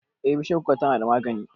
Eh, bishiyar kuka tana magani